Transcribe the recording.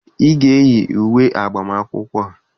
Ị ga-eyi uwe agbamakwụkwọ!